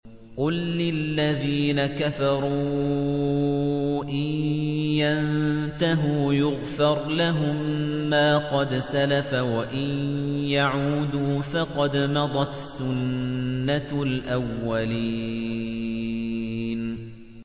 قُل لِّلَّذِينَ كَفَرُوا إِن يَنتَهُوا يُغْفَرْ لَهُم مَّا قَدْ سَلَفَ وَإِن يَعُودُوا فَقَدْ مَضَتْ سُنَّتُ الْأَوَّلِينَ